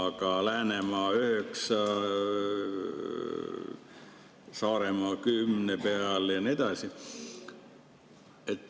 Aga Läänemaa on 9%, Saaremaa 10% peal ja nii edasi.